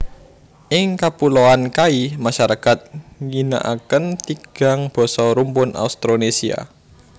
Ing Kapuloan Kai masarakat ngginakaken tigang basa rumpun Austronesia